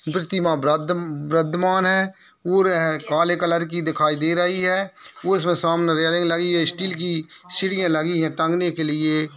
प्रतिमा ब्रादम् ब्रदमान है और यह काले कलर की दिखाई दे रही है वो इसमें सामने रैलिंग लगी है स्टील की सिढ़ियाँ लगी हैं टांगने के लिए।